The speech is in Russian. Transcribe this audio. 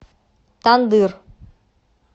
тандыр